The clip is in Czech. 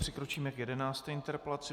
Přikročíme k 11. interpelaci.